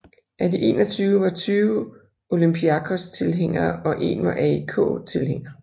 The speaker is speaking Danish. Af de 21 var 20 Olympiakos tilhængere og en var AEK tilhænger